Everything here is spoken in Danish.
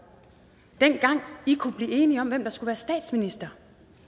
dengang i kunne blive enige om hvem der skulle være statsminister